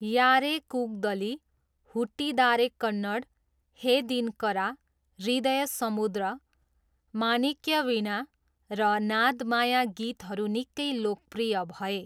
यारे कुगदली', 'हुट्टीदारे कन्नड', 'हे दिनकरा', 'हृदय समुद्र', 'मानिक्यवीणा' र 'नादमाया' गीतहरू निकै लोकप्रिय भए।